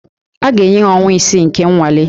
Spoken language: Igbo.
A ga-enye ha ọnwa isii nke nnwale